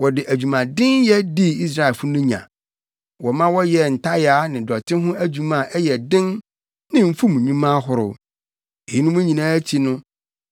Wɔde adwumadenyɛ dii Israelfo no nya. Wɔma wɔyɛɛ ntayaa ne dɔte ho adwuma a ɛyɛ den ne mfum nnwuma ahorow. Eyinom nyinaa akyi no